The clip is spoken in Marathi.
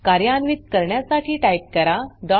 कार्यान्वित करण्यासाठी टाइप करा struct1